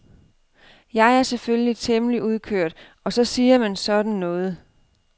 Jeg er selvfølgelig temmelig udkørt og så siger man sådan noget.